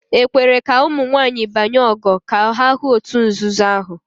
"E kwere ka ụmụ nwanyị banye ""ogo" ka ha hụ òtù nzuzo ahụ?